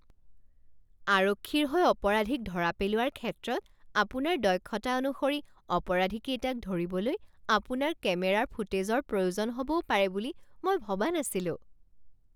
আৰক্ষীৰ হৈ অপৰাধীক ধৰা পেলোৱাৰ ক্ষেত্ৰত আপোনাৰ দক্ষতা অনুসৰি অপৰাধীকেইটাক ধৰিবলৈ আপোনাক কেমেৰা ফুটেজৰ প্ৰয়োজন হ'বও পাৰে বুলি মই ভবা নাছিলোঁ।